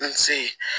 N se ye